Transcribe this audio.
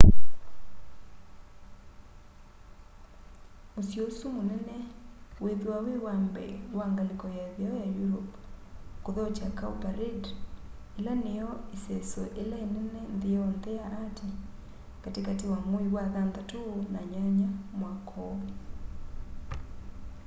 musyi usu munene wiithwa wi wa mbee wa ngaliko ya itheo ya europe kuthokya cowparade ila niyo iseso ila inene nthi yonthe ya ati kati kati wa mwei wa thanthatu na nyanya mwaka úú